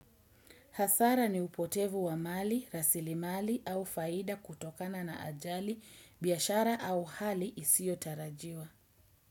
Hasara ni upotevu wa mali, rasili mali au faida kutokana na ajali, biashara au hali isio tarajiwa.